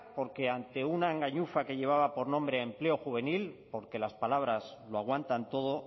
porque ante una engañifa que lleva por nombre empleo juvenil porque las palabras lo aguantan todo